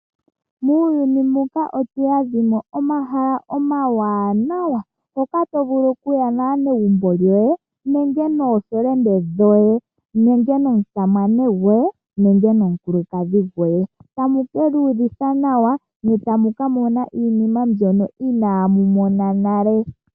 Muuyuni muka omuna omahala omawanawa ngoka tovulu okuya naanegumbo lyoye nenge nookuume koye nenge nomusamane goye nenge nomukulukadhi goye. Etamu kiiyuvitha nawa ne tamuka mona iinima mbyono inaamu mona nale.